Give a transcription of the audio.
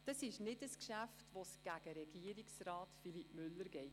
Es ist kein Geschäft, das sich gegen Regierungsrat Philippe Müller richtet.